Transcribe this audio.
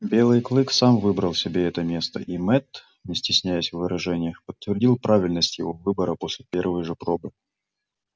белый клык сам выбрал себе это место и мэтт не стесняясь в выражениях подтвердил правильность его выбора после первой же пробы